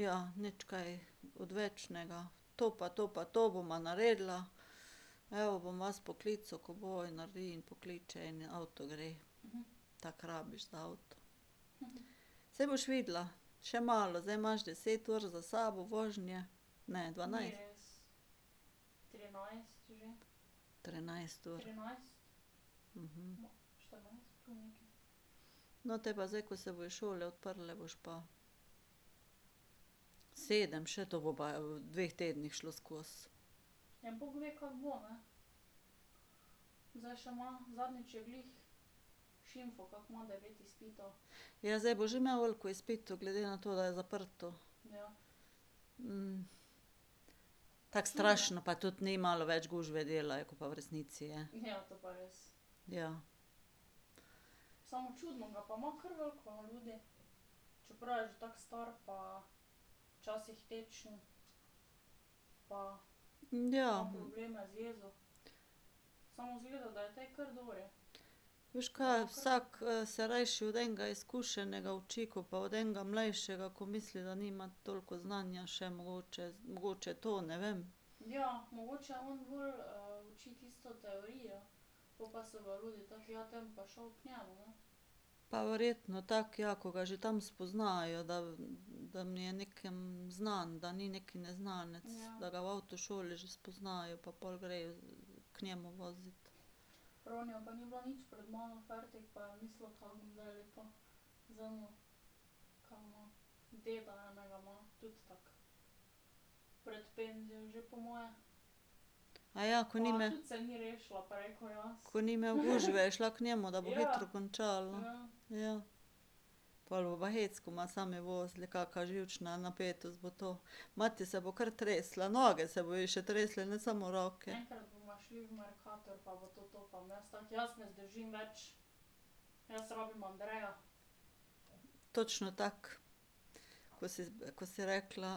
Ja, nič kaj odvečnega, to pa to pa to bova naredila, evo, bom vas poklical, ko bo, in naredi in pokliče in avto gre. Tako rabiš za avto. Saj boš videla, še malo. Zdaj imaš deset ur za sabo vožnje, ne, dvanajst. Trinajst ur. No, te pa zdaj, ko se bojo šole odprle, boš pa ... Sedem še, to bo pa v dveh tednih šlo skozi. Ja, zdaj bo že imel veliko izpitov, glede na to, da je zaprto. tako strašno pa tudi ni, malo več gužve, dela je, ko pa v resnici je. Ja. Ja ... Veš ka, vsak se rajši od enega izkušenega uči, ko pa od enega mlajšega, ko misli, da nima toliko znanja še mogoče, mogoče to, ne vem. Pa verjetno tako, ja, ko ga že tam spoznajo, da da jim je nekam znan, da ni neki neznanec, da ga v avtošoli že spoznajo pa pol grejo k njemu vozit. ko ni ... Ko ni imel gužve, je šla k njemu, da bo hitro končala? Ja. Pol bo pa hec, ko bova sami vozili, kaka živčna napetost bo to. Mati se bo kar tresla, noge se bojo ji še tresle, ne samo roke. Točno tako. Ko si ko si rekla: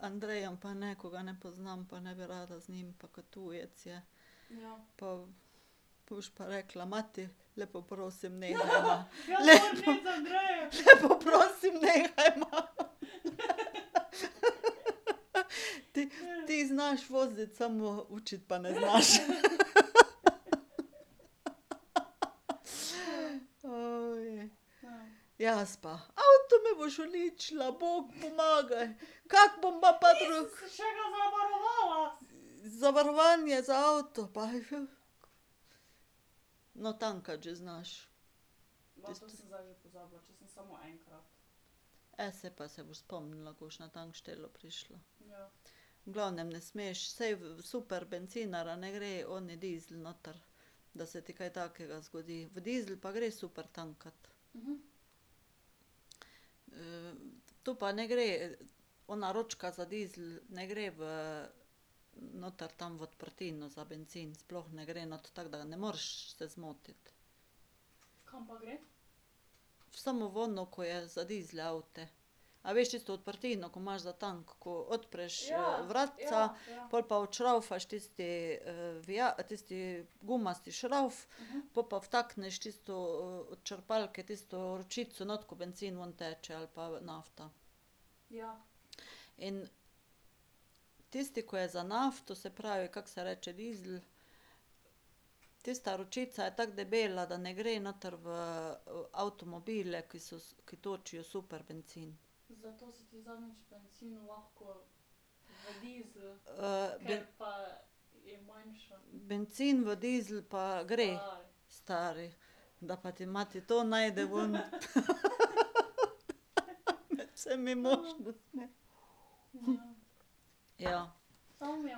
Andrejem pa ne, ko ga ne poznam, pa ne bi rada z njim, pa ko tujec je." Pa ... pol boš pa rekla: "Mati, lepo prosim, nehajva." Lepo ... Lepo prosim, nehajva, Ti, ti znaš voziti, samo učiti pa ne znaš, Jaz pa: "Avto mi boš uničila, bog pomagaj, kako bom pa ..." Zavarovanje za avto pa ... No, tankati že znaš. saj pa se boš spomnila, ko boš na tankštelo prišla. V glavnem, ne smeš, saj v super bencinarja, ne gre oni dizel noter. Da se ti kaj takega zgodi, v dizel pa gre super tankat. to pa ne gre, ona ročka za dizel, ne gre v, noter tam v odprtino za bencin, sploh ne gre not, tako da ne moreš se zmotiti. Samo v ono, ko je za dizel avte. A veš tisto odprtino, ko imaš za tank, ko odpreš vratca, pol pa odšravfaš tisti tisti gumasti šravf, pol pa vtakneš tisto od črpalke, tisto ročico not, ko bencin ven teče ali pa nafta. In tisti, ki je za nafto, se pravi, kako se reče, dizel, tista ročica je tako debela, da ne gre noter v avtomobile, ki so, ki točijo super bencin. ... bencin v dizel pa gre. Stari, da pa ti mati to najde ven ... Med vsemi možnostmi. ja.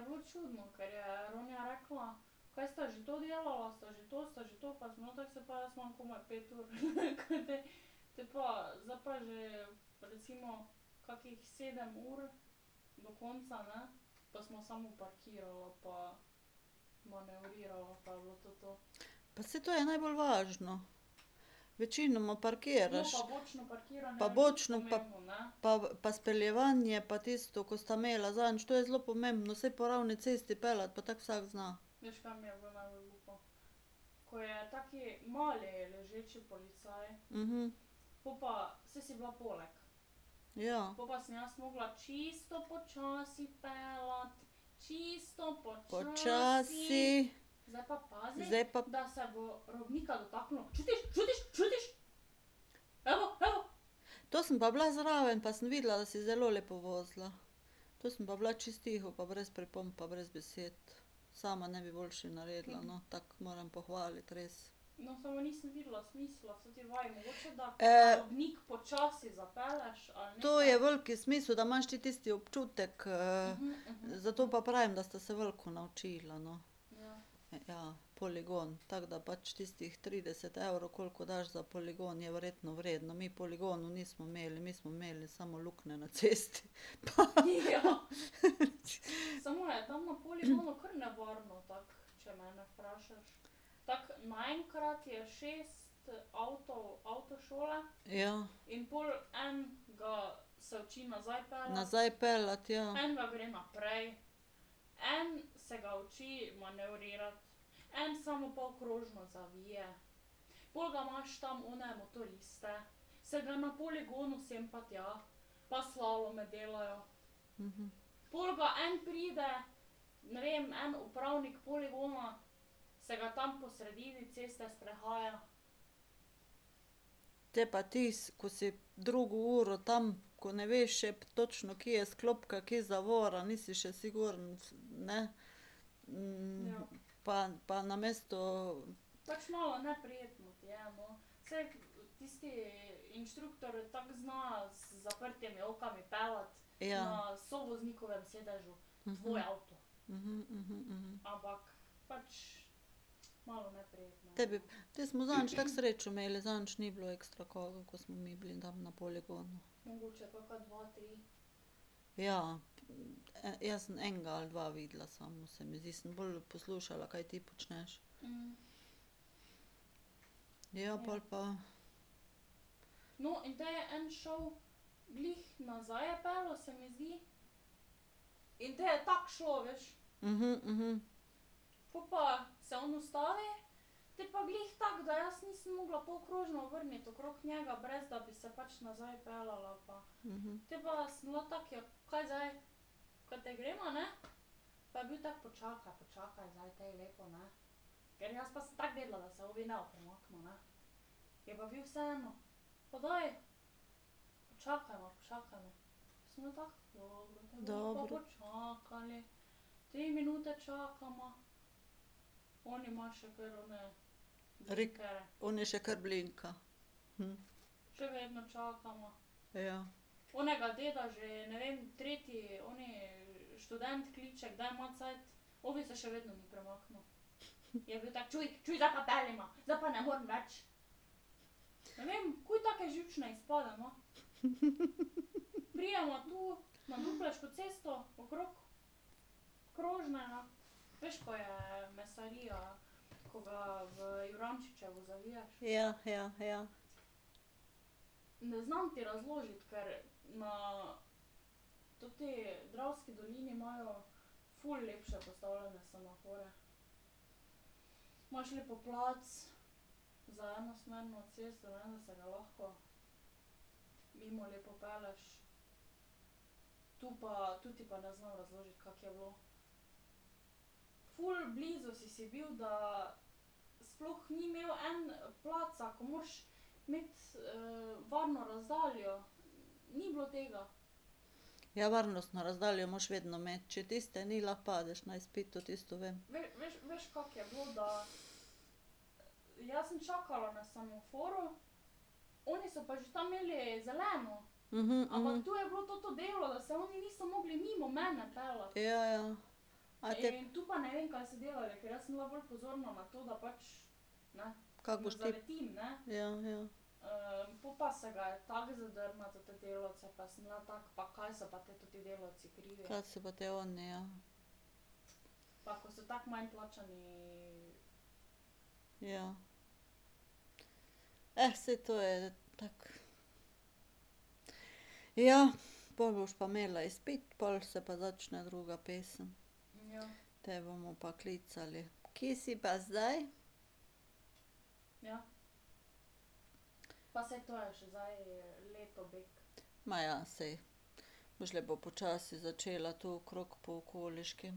Pa saj to je najbolj važno. Večinoma parkiraš. Pa bočno pa ... pa speljevanje, pa tisto, ko sta imela zadnjič, to je zelo pomembno, saj po ravni cesti peljati pa tako vsak zna. Ja. Počasi. Zdaj pa ... To sem pa bila zraven, pa sem videla, da si zelo lepo vozila. To sem pa bila čisto tiho pa brez pripomb pa brez besed. Sama ne bi boljše naredila, no, tako, moram pohvaliti res. To je veliki smisel, da imaš ti tisti občutek, zato pa pravim, da sta se veliko naučila, no. Ja, poligon. Tako da pač tistih trideset evrov, ali koliko daš za poligon, je verjetno vredno, mi poligonov nismo imeli, mi smo imeli samo luknje na cesti. Ja. Nazaj peljati, ja. Te pa ti, ko si drugo uro tam, ko ne veš še točno, kje je sklopka, kje je zavora, nisi še siguren, ne, pa pa namesto ... Ja. Tebi, te smo zadnjič tako srečo imeli, zadnjič ni bilo ekstra koga, ko smo mi bili tam na poligonu. Ja, jaz sem enega ali dva videla, samo se mi zdi, sem bolj poslušala, kaj ti počneš. Ja, pol pa ... Dobro. ... Oni še kar blinka. Ja. Ja, ja, ja. Ja, varnostno razdaljo moraš vedno imeti, če tiste ni, lahko padeš na izpitu, tisto vem. Ja, ja. A te ... Kako boš ti ... Ja, ja. Ka so pa te oni, ja. Ja. saj to je tako. Ja, pol boš pa imela izpit, pol se pa začne druga pesem. Te bomo pa klicali: "Kje si pa zdaj?" Ma ja, saj. Boš lepo počasi začela tu okrog po okoliški.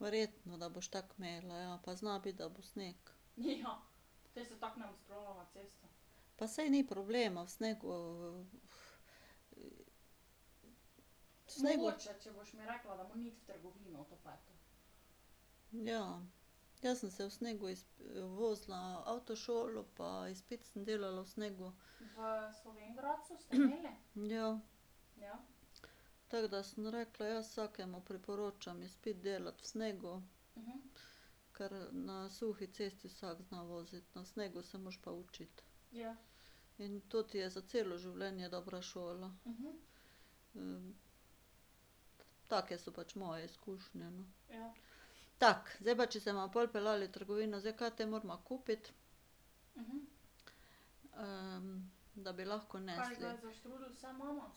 Verjetno, da boš tako imela, ja, pa zna biti, da bo sneg. Pa saj ni problema v snegu ... v snegu ... Ja. Jaz sem se v snegu vozila avtošolo pa izpit sem delala v snegu. Ja. Tako da sem rekla, jaz vsakemu priporočam izpit delati v snegu. Ker na suhi cesti vsak zna voziti, na snegu se moraš pa učiti. In to ti je za celo življenje dobra šola. take so pač moje izkušnje, no. Tako, zdaj pa če se bova pol peljali v trgovino, zdaj, kaj te morava kupiti, da bi lahko nesli?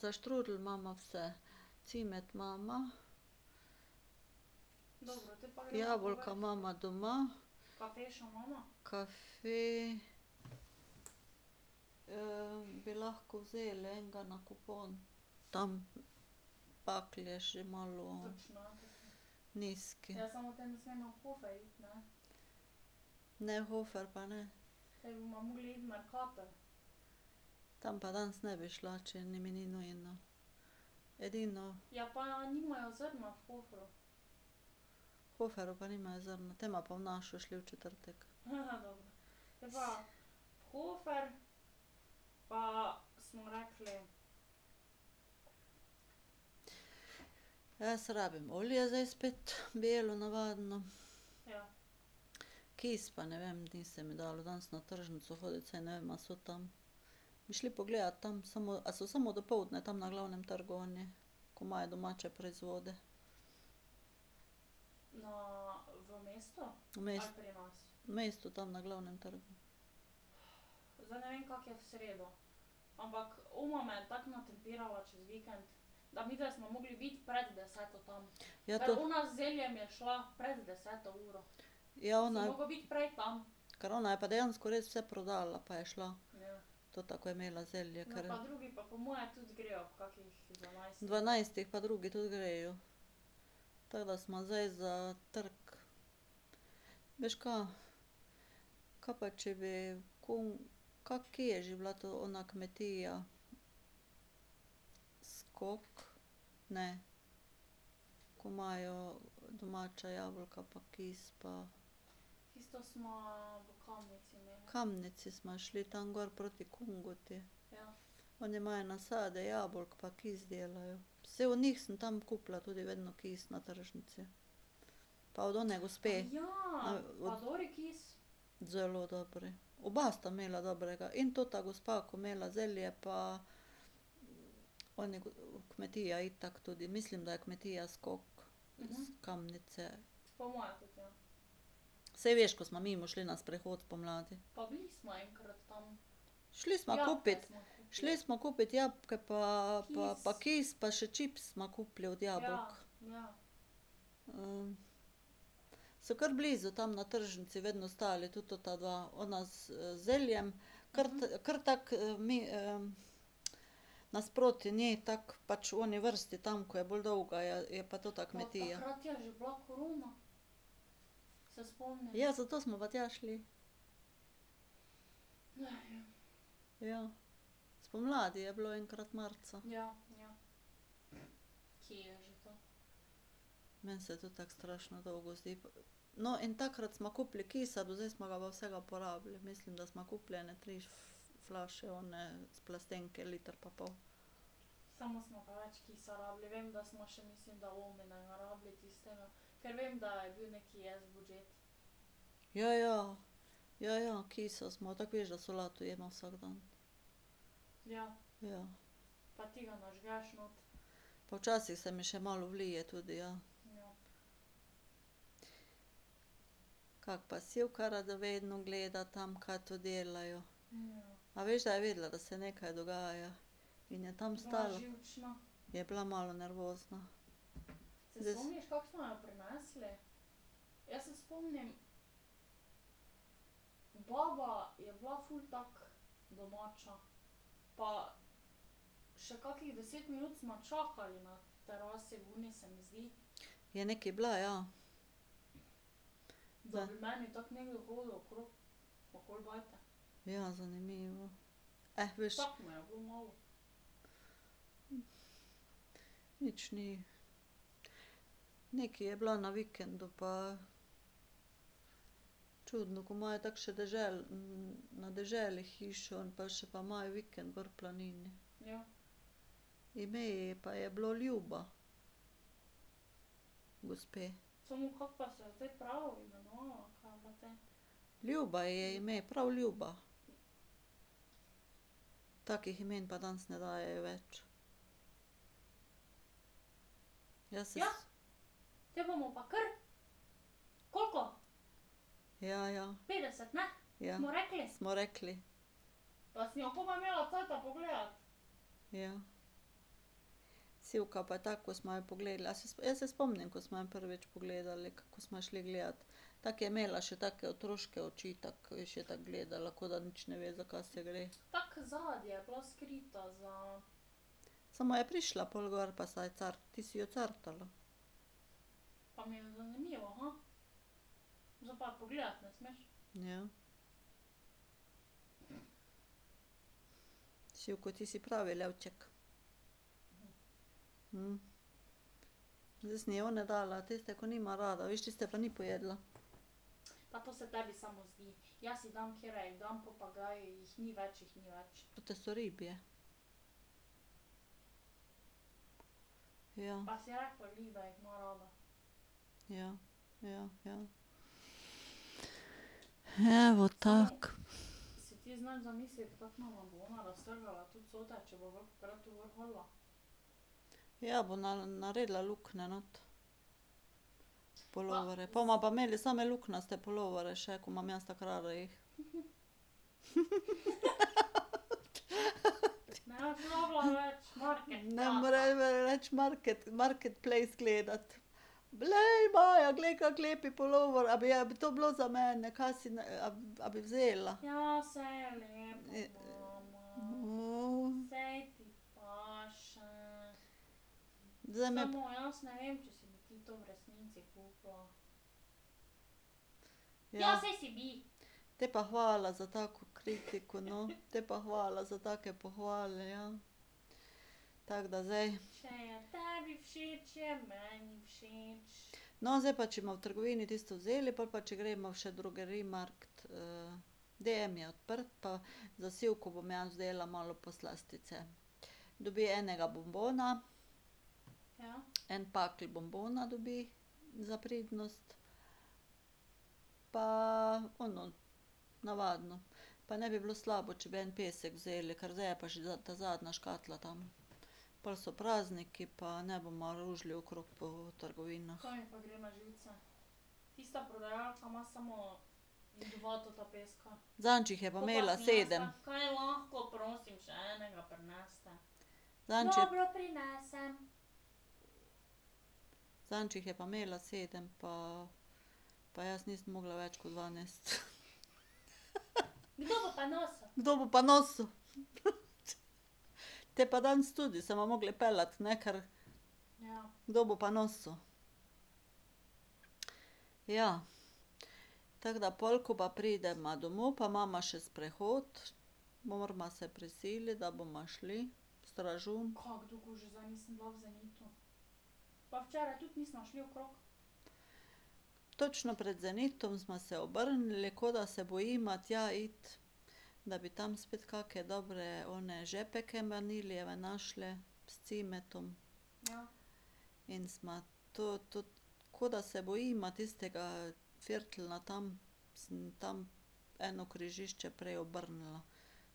Za štrudelj imava vse, cimet imava. Jabolka imava doma. Kafe ... bi lahko vzeli enega na kupon. Tam je že malo ... Nizki. Ne, v Hofer pa ne. Tam pa danes ne bi šla, če ni, mi ni nujno. Edino ... V Hoferju pa nimajo v zrno? Te bova pa v našo šli v četrtek. Jaz rabim olje zdaj spet, belo navadno. Kis pa ne vem, ni se mi dalo danes na tržnico hoditi, saj ne vem, a so tam. Bi šli pogledat tam, samo, a so samo dopoldne tam na Glavnem trgu oni, ko imajo domače proizvode? V ... V mestu, tam na Glavnem trgu. Ja ... Ja, ona ... Ker ona je pa dejansko res vse prodala, pa je šla. Tota, ki je imela zelje, ker ... Dvanajstih pa drugi tudi grejo. Tako da sva zdaj za trk. Veš ka? Ka pa če bi ka kje je že bila to ona kmetija? Skozi? Ne. Ko imajo domača jabolka pa kis pa ... Kamnici sva šli, tam gor proti Kungoti. Oni imajo nasade jabolk pa kis delajo, saj od njih sem tam kupila tudi vedno kis na tržnici. Pa od one gospe. Zelo dobri. Oba sta imela dobrega, in ta gospa, ko je imela zelje, pa oni kmetija itak tudi, mislim, da je kmetija Skok. S Kamnice. Saj veš, ko smo mimo šli na sprehod spomladi. Šli sva kupit ... šli sva kupit jabolka pa pa kis pa še čips sva kupili od jabolk. so ker blizu tam na tržnici vedno stali, tudi ta dva, ona z zeljem, ker ker tako nasproti ne tako pač v oni vrsti tam, ko je bolj dolga, je pa tota kmetija. Ja, zato smo pa tja šli. Ja, spomladi je bilo, enkrat marca. Meni se tudi tako strašno dolgo zdi. No, in takrat sva kupili kisa, do zdaj smo ga pa vsega porabili, mislim, da sva kupili ene tri flaše one s plastenke, liter pa pol. Ja, ja. Ja, ja, ki smo, tako veš, da solato jeva vsak dan. Ja. Pa včasih se mi še malo vlije tudi, ja. Kako pa Sivka radovedno gleda tam, kaj tu delajo. A veš, da je vedela, da se nekaj dogaja? In je tam stala ... Je bila malo nervozna. Je nekaj bila, ja. Ja, zanimivo. veš. Nič ni. Nekaj je bila na vikendu pa ... Čudno, ko imajo tako še na deželi hišo, pa še pa imajo vikend gor v planini. Ime ji pa je bilo Ljuba, gospe. Ljuba ji je ime, prav Ljuba. Takih imen pa danes ne dajejo več. Jaz se ... Ja, ja. Ja. Smo rekli. Ja. Sivka pa tako, ko sva jo pogledale, a se jaz se spomnim, ko sva jo prvič pogledali, kaj ko sva jo šli gledat. Tako je imela še take, otroške oči, tako, je še tako gledala, ko da nič ne ve, za kaj se gre. Samo je prišla pol gor pa se je ti si jo cartala. Ja. Sivko, ti si pravi levček. Zdaj sem ji one dala, tiste, ki nima rada, viš, tiste pa ni pojedla. Pa te so ribje. Ja. Ja, ja, ja. Evo, tako. Ja, bo naredila luknje not v puloverje. Po bova pa imeli same luknjate puloverje še, ko imam jaz tako rada jih. Ne bom rabila nič marketplace gledati. Glej, Maja, glej, kako lep pulover, a bi bilo to za mene, ka si, a bi vzela. Zdaj mi ... Ja ... Potem pa hvala za tako kritiko, no. Potem pa hvala za take pohvale, ja. Tako da zdaj ... No, zdaj pa če bova v trgovini tisto vzeli, pol pa če greva še v Drogeriemarkt DM je odprt, pa za Sivko bom jaz vzela malo poslastice. Dobi enega bonbona, en pakelj bonbona dobi za pridnost. Pa ono navadno. Pa ne bi bilo slabo, če bi en pesek vzeli, ker zdaj je pa že ta zadnja škatla tam. Pol so prazniki pa ne bova ružili okrog po trgovinah. Zadnjič jih je pa imela sedem. Zadnjič je ... Zadnjič jih je pa imela sedem pa pa jaz nisem mogla več kot dva nesti. Kdo bo pa nosil? Potem pa danes tudi, se bova morali peljati, ne, ker ... Kdo bo pa nosil? Ja. Tako da pol, ko pa prideva domov, pa imava še sprehod. Morava se prisiliti, da bova šli, v Stražun. Točno pred zenitom sva se obrnili, kot da se bojiva tja iti, da bi tam spet kake dobre one žepke vanilijeve našle, s cimetom. In sva to, to, kot da se bojima tistega ferteljna tam. Sem tam eno križišče prej obrnila.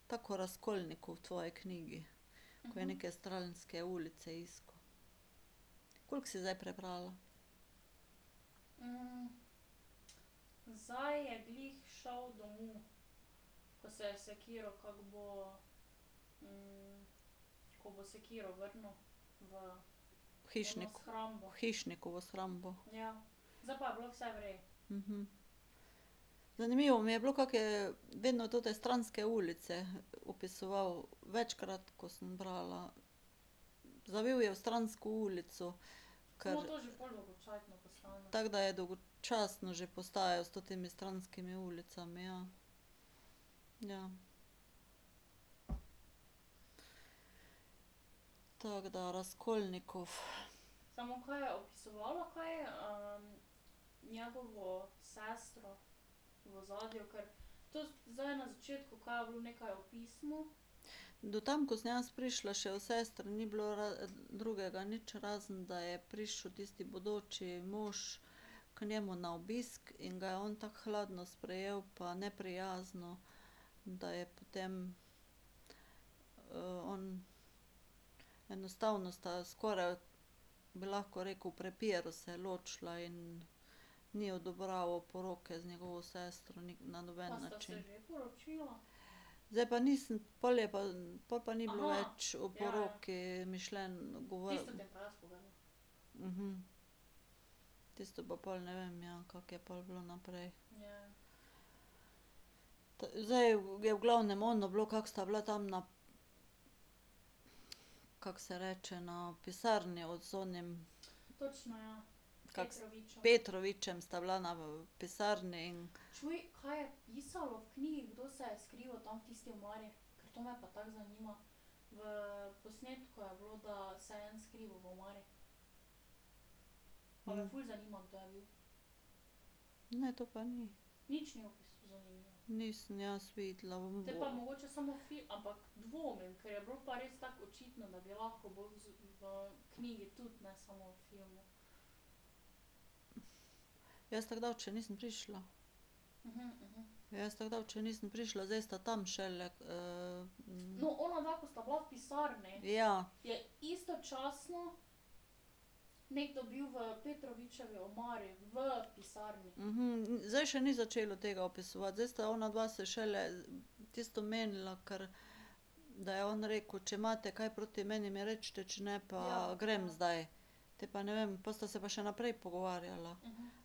Tako kot Razkolnikov v tvoji knjigi, ko je neke stranske ulice iskal. Koliko si zdaj prebrala? Hišnik, hišniku v shrambo. Zanimivo mi je bilo, kako je vedno tote stranske ulice opisoval, večkrat, ko sem brala. Zavil je v stransko ulico, ker ... Tako da je dolgočasno že postajalo s temi stranskimi ulicami, ja. Ja. Tako da Razkolnikov ... Do tam, ko sem jaz prišla, še o sestri ni bilo drugega nič, razen da je prišel tisti bodoči mož k njemu na obisk in ga je on tako hladno sprejel pa neprijazno, da je potem on, enostavno sta skoraj, bi lahko rekel, v prepiru se ločila in ni odobraval poroke z njegovo sestro na noben način. Zdaj pa nisem, pol je pa, pol pa ni bilo več v oporoki mišljeno ... Tisto pa pol ne vem, ja, kako je pol bilo naprej. Zdaj je v glavnem ono bilo, kako sta bila tam na ... Kako se reče, no, v pisarni z onim, kako se ... Petrovičem sta bila na, v pisarni in ... Ne, to pa ni. Nisem jaz videla. Jaz tako daleč še nisem prišla. Jaz tako daleč še nisem prišla, zdaj sta tam šele ... Ja. zdaj še ni začelo tega opisovati, zdaj sta onadva se šele tisto menila, ker ... Da je on rekel, če imate kaj proti meni, mi recite, če ne pa grem zdaj. Potem pa ne vem, pol sta se pa še naprej pogovarjala.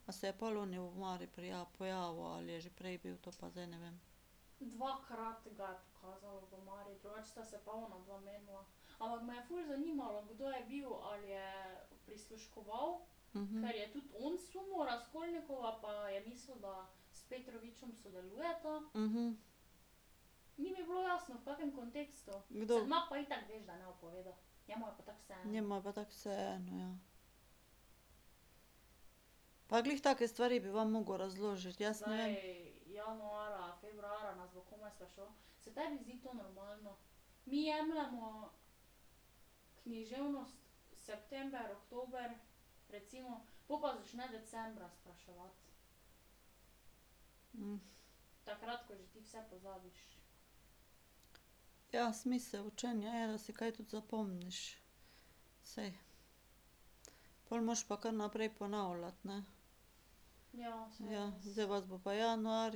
A se je pol oni v omari prijavil, pojavil ali je že prej bil, to pa zdaj ne vem. Kdo ... Njemu je pa tako vseeno, ja. Pa glih take stvari bi vam moral razložiti, jaz ne vem ... Ja, smisel učenja je, da si kaj tudi zapomniš. Saj, pol moraš pa kar naprej ponavljati, ne. Ja, zdaj vas bo pa januarja ...